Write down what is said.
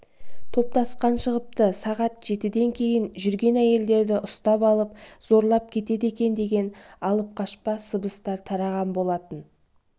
топтасқан шығыпты сағат жетіден кейін жүрген әйелдерді ұстап алып зорлап кетеді екен деген алып-қашпа сыбыс тараған болатын